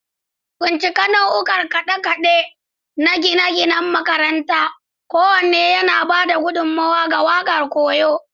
Bincika nau'ikan kade-kade na gine-ginen makaranta, kowanne yana ba da gudummawa ga waƙar koyo.